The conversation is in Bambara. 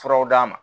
Furaw d'a ma